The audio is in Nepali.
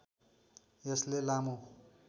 यसले लामो